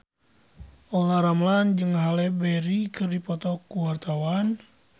Olla Ramlan jeung Halle Berry keur dipoto ku wartawan